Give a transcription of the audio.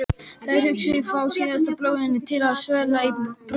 Þær hugsanir fá síðan blóðið til að svella í brjósti.